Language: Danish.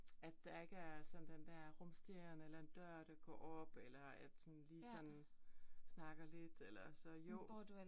At der ikke er sådan den der rumsteren eller en dør, der går op eller at hun sådan lige snakker lidt eller så jo